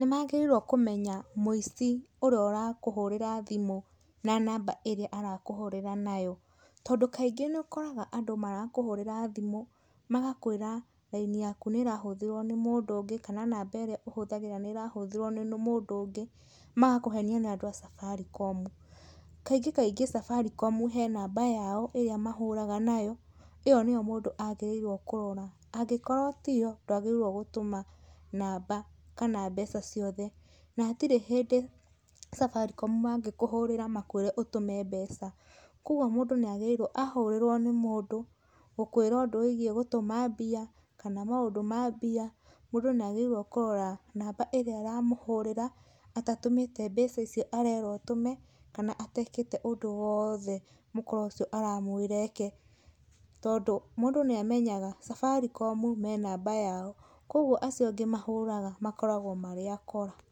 Nĩmagĩrĩirwo kũmenya mũici ũria ũrakũhũrĩra thimũ na namba ĩrĩa arakũhũrĩra nayo, tondũ kaingĩ nĩ ũkoraga andũ marakũhũrĩra thimũ, magakwĩra raini yaku nĩrahũthĩrwo nĩ mũndũ ũngĩ, kana namba ĩria ũhũthĩraga nĩrahũthirwo nĩ mũndũ ũngĩ ,magakũhenia nĩandũ a Safaricom, kaingĩ kaingĩ Safaricom he namba yao ĩrĩa mahũraga nayo, ĩyo nĩyo mũndũ agĩrĩrwo kũrora, angĩkorwo tiyo ndwagĩrĩirwo gũtũma namba, kana mbeca ciothe, na hatirĩ hĩndĩ Safaricom mangĩkũhũrĩra makwĩre ũtũme mbeca, kwoguo mũndũ nĩagĩrĩrwo ahorĩrwo nĩ mũndũ, gũkũĩra ũndũ wĩgĩĩ gũtuma mbia, kana maũndũ ma mbia, mũndũ nĩagĩrĩirwo kũrora namba ĩrĩa ĩra mũhũrĩra atatũmĩte mbeca icio arerwo atũme, kana atekĩte ũndũ woothe mũkora ũcio aramwĩra eke, tondũ, mũndũ nĩamenyaga Safaricom me namba yao, kwoguo acio angĩ mahũraga makoragwo marĩ akora.